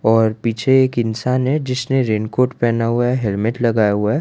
और पीछे एक इंसान है जिसने रेन कोट पहना हुआ है हेलमेट लगाया हुआ है।